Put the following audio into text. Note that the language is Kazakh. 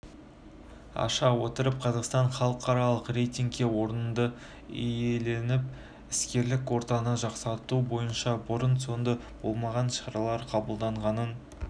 аша отырып қазақстан халықаралық рйтингте орынды иеленіп іскерлік ортаны жақсарту бойынша бұрын-сонды болмаған шаралар қабылдағанын